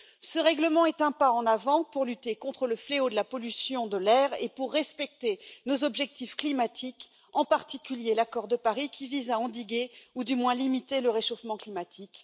Ce règlement est un pas en avant pour lutter contre le fléau de la pollution de l'air et pour respecter nos objectifs climatiques, en particulier l'accord de Paris, qui vise à endiguer ou du moins à limiter le réchauffement climatique.